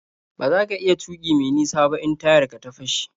Ba za ka iya tuƙi me nisa ba in tayar ka ta fashe.